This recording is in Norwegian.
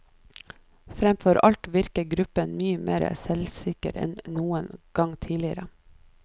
Fremfor alt virker gruppen mye mer selvsikker enn noen gang tidligere.